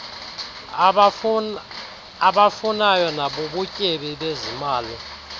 abafunayo nabubutyebi bezimali